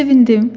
Sevindi.